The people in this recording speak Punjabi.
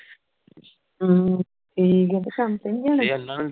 ਹਮ ਠੀਕ ਹੈ ਕੰਮ ਤੇ ਨਹੀਂ ਜਾਣਾ